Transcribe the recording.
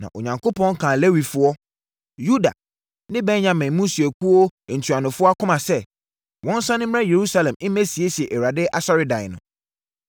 Na Onyankopɔn kaa Lewifoɔ, Yuda ne Benyamin mmusuakuo ntuanofoɔ akoma sɛ, wɔnsane mmra Yerusalem mmɛsiesie Awurade asɔredan no.